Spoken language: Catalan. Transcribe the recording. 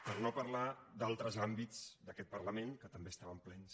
per no parlar d’altres àmbits d’aquest parlament que també estaven plens